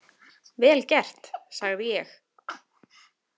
Vel gert, sagði ég.